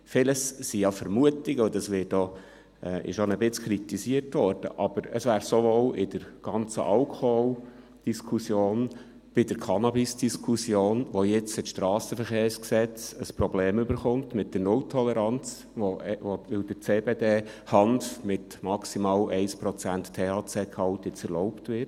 Vieles sind ja Vermutungen, und dies wurde zum Teil auch kritisiert, aber es wäre sowohl in der ganzen Alkoholdiskussion, bei der Cannabisdiskussion, bei der jetzt das Strassenverkehrsgesetz (SVG) ein Problem mit der Null-Toleranz bekommt, weil der CBD-Hanf mit maximal 1 Prozent THC-Gehalt jetzt erlaubt wird …